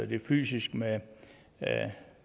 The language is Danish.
de fysiske med